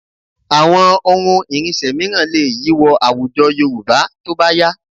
Àwọn ohun ìrìnsẹ̀ mìíràn lè yí wọ àwùjọ Yorùbá tó bá yá